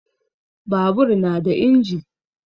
Babur na da inji.